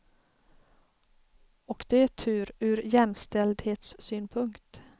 Och det är tur, ur jämställdhetssynpunkt.